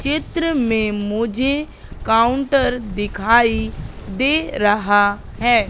चित्र में मुझे काउंटर दिखाई दे रहा है।